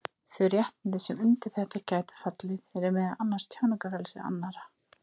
Þau réttindi sem undir þetta gætu fallið eru meðal annars tjáningarfrelsi annarra.